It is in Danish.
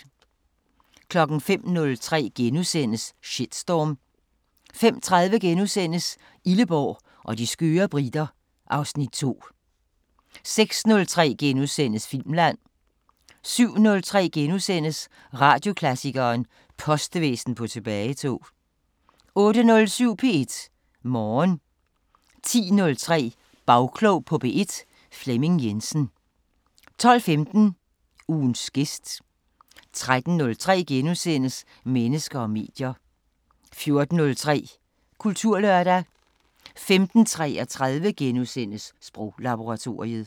05:03: Shitstorm * 05:30: Illeborg og de skøre briter (Afs. 2)* 06:03: Filmland * 07:03: Radioklassikeren: Postvæsen på tilbagetog * 08:07: P1 Morgen 10:03: Bagklog på P1: Flemming Jensen 12:15: Ugens gæst 13:03: Mennesker og medier * 14:03: Kulturlørdag 15:33: Sproglaboratoriet *